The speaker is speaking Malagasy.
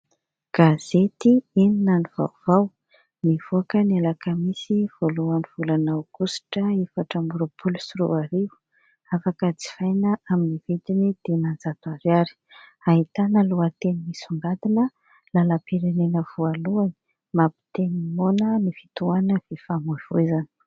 Gazety "Inona no vaovao" nivoaka ny alakamisy voalohan'ny volana aogositra efatra ambin'ny roapoalo sy roa arivo ; afaka jifaina amin'ny vidiny dimanjato ariary ; ahitana lohateny misongadina : "Lalam-pirenena voalohany mampiteny ny moana ny fitoanana ny fifamoivozana".